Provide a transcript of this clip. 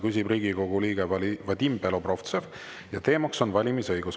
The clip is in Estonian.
Küsib Riigikogu liige Vadim Belobrovtsev ja teemaks on valimisõigus.